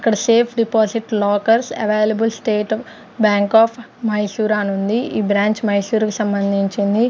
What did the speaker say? అక్కడ safe deposit lockers available State Bank of Mysore అనుంది ఈ బ్రాంచ్ మైసూర్ కి సంభందించింది.